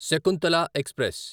Shakuntala express